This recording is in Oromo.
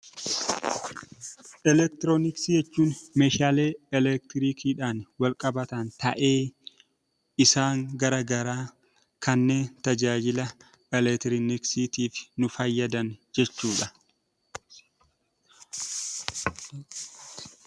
Eleektirooniksii jechuun Meeshaalee eleektirikiidhaan wal qabatan ta'ee isaan garaagaraa kanneen tajaajila eleektirooniksiif nu fayyadan jechuudha.